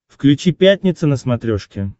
включи пятница на смотрешке